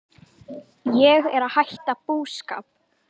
Ég er að hætta búskap.